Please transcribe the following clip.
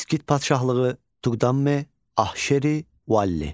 İskit Padşahlığı, Tuqdame, Ahşeri, Valli.